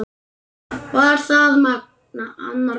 Var það annar Magni?